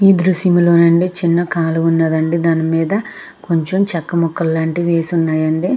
ఈ దృశ్యంలో అండి చిన్న కాలు ఉన్నదండి. దాని మీద కొంచెం చక్క ముక్కలు లాంటివి వేసి ఉన్నాయండి.